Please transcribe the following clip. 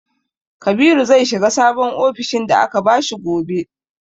Kabiru zai shiga sabon ofishin da aka bashi gobe.